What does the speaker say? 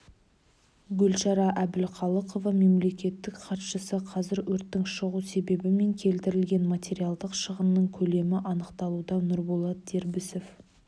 гүлшара әбдіқалықова мемлекеттік хатшысы қазір өрттің шығу себебі мен келтірілген материалдық шығынның көлемі анықталуда нұрболат дербісов